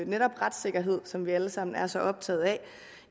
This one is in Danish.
netop retssikkerhed som vi alle sammen er så optaget af